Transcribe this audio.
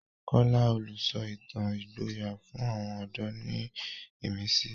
Kola, olùsọ ìtàn ìgboyà, fún àwọn ọ̀dọ́ ní ìmísí.